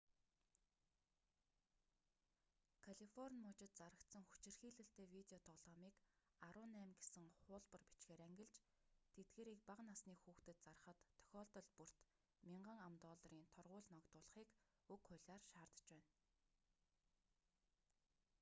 калифорни мужид зарагдсан хүчирхийлэлтэй видео тоглоомыг 18 гэсэн хуулбар бичгээр ангилж тэдгээрийг бага насны хүүхдэд зарахад тохиолдол бүрт 1,000 ам.долларын торгууль ногдуулахыг уг хуулиар шаардаж байна